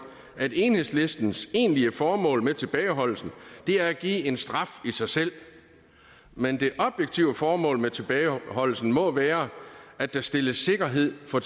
at enhedslistens egentlige formål med tilbageholdelsen er at give en straf i sig selv men det objektive formål med tilbageholdelsen må være at der stilles sikkerhed for